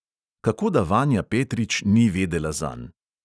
Kako da vanja petrič ni vedela zanj?